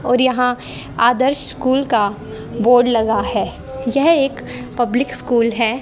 और यहां आदर्श स्कूल का बोर्ड लगा है यह एक पब्लिक स्कूल है।